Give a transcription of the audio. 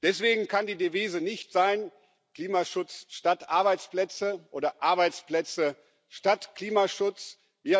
Deswegen kann die Devise nicht Klimaschutz statt Arbeitsplätze oder Arbeitsplätze statt Klimaschutz sein.